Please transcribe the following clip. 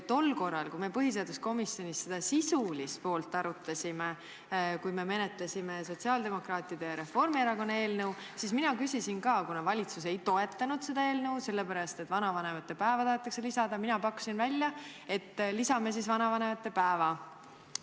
Tol korral, kui me põhiseaduskomisjonis seda sisulist poolt arutasime, kui me menetlesime sotsiaaldemokraatide ja Reformierakonna eelnõu, siis kuna valitsus seda eelnõu ei toetanud, sest vanavanemate päeva taheti lisada, pakkusin mina välja, et lisame siis vanavanemate päeva.